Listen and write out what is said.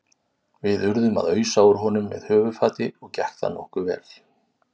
Við urðum að ausa úr honum með höfuðfati og gekk það nokkuð vel.